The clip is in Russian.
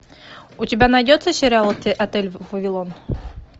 у тебя найдется сериал отель вавилон